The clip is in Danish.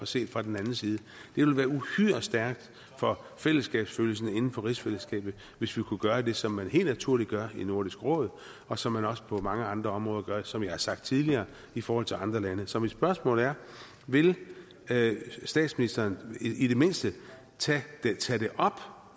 set fra den anden side det ville være uhyre stærkt for fællesskabsfølelsen inden for rigsfællesskabet hvis vi kunne gøre det som man helt naturligt gør i nordisk råd og som man også gør på mange andre områder som jeg har sagt tidligere i forhold til andre lande så mit spørgsmål er vil statsministeren i det mindste tage det op